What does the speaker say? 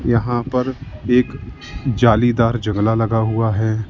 यहां पर एक जालीदार जंगला लगा हुआ है।